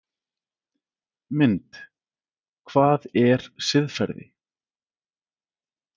Mynd: Hvað er siðferði?